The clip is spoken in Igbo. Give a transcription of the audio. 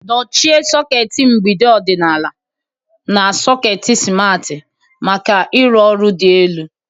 Dochie sọket mgbidi ọdịnala na sọket simarti maka ịrụ ọrụ dị elu.